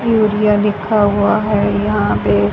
लिखा हुआ है। यहां पे--